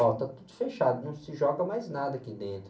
Ó, está tudo fechado, não se joga mais nada aqui dentro.